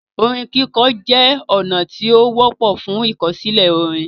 Orin kikọ jẹ ọna ti o wọpọ fun ikosile orin.